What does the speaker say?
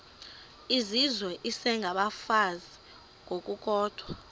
izizwe isengabafazi ngokukodwa